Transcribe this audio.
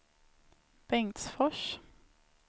Bengtsfors